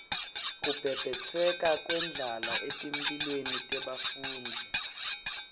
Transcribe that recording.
kubhebhetseka kwendlala etimphilweni tebafundzi